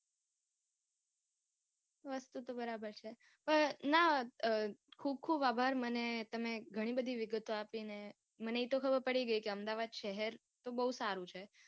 વસ્તુ તો બરાબર છે. પણ ના ખુબ ખુબ આભાર મને તમે ઘણી બધી વિગતો આપી ને મને ઈ તો ખબર પડી ગઈ કે અમદાવાદ શહેર તો બઉ સારું છે.